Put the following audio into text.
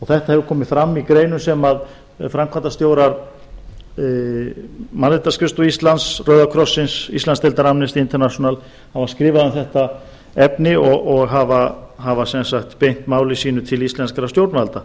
þetta hefur komið fram í greinum sem framkvæmdastjórar mannréttindaskrifstofu íslands rauða krossins og íslandsdeildar amnesty international hafa skrifað um efnið og beint máli sínu til íslenskra stjórnvalda